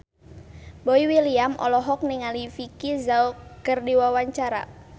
Boy William olohok ningali Vicki Zao keur diwawancara